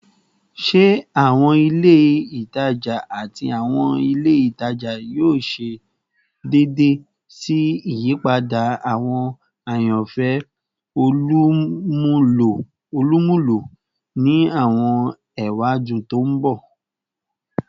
Ṣe awọn ile itaja ati awọn ile itaja yoo ṣe deede si iyipada awọn ayanfẹ olumulo ni awọn ewadun to n bọ?